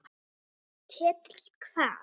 Ketill hvað?